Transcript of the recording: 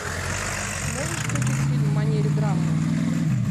можешь включить фильм в манере драмы